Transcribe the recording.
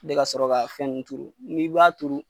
Ne ka sɔrɔ k'a fɛn turu n'i b'a turu